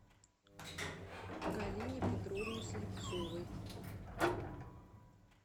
галине петровне слепцовой